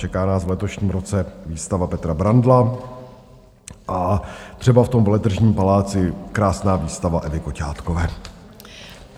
Čeká nás v letošním roce výstava Petra Brandla a třeba v tom Veletržním paláci krásná výstava Evy Koťátkové.